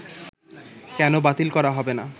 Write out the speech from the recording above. কেন বাতিল করা হবে না